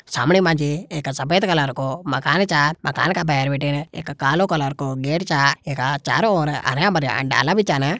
सामणे मा जी एक सफ़ेद कलर को मकान चा मकान का भैर बटिन एक कालो कलर को गेट छा एखा चारो ओर हर्या-भर्या डाला भी छन।